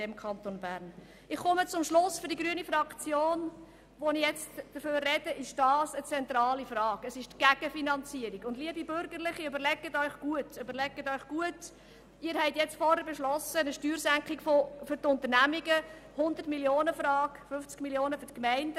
Sie haben vorher eine Steuersenkung für die Unternehmungen angenommen, die 100 Mio. Franken zulasten des Kantons bedeutet und 50 Mio. Franken zulasten der Gemeinden.